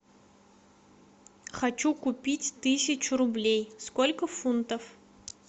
хочу купить тысячу рублей сколько фунтов